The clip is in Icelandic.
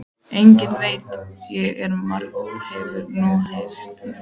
Einnig veit ég að margt hefur þú heyrt um mig.